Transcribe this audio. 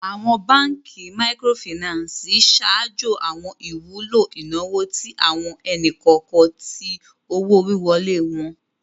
Awọn Bankí Míkírọ̀fínansì ṣáàjó awọn ìwùlọ̀ inawo tí awọn ènì-kọọkan tí owó-wíwọ́lẹ̀ wọn